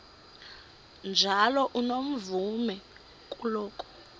njalo unomvume kuloko